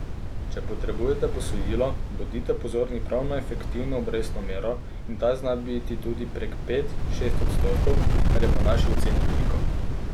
Če potrebujete posojilo, bodite pozorni prav na efektivno obrestno mero in ta zna biti tudi prek pet, šest odstotkov, kar je po naši oceni veliko.